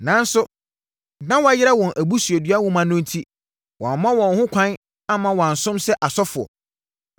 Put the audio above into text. Nanso, na wɔayera wɔn abusuadua nwoma no enti wɔamma wɔn ho kwan amma wɔansom sɛ asɔfoɔ.